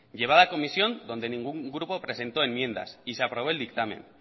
llevada a comisión donde ningún grupo presentó enmiendas y se aprobó el dictamen